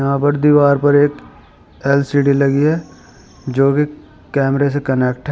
यहाँ पर दीवार पर एक एल_सी_डी लगी है जो कि कैमरे से कनेक्ट है।